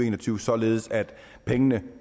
en og tyve således at pengene